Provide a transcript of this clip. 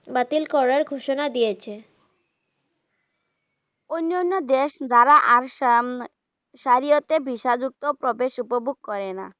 বাতিল করার ঘোষণা দিয়েছে অন্য অন্য দেশ দ্বারা আর সার্বিয়াতে VISA যুক্ত প্রবেশ উপভোগ করে না।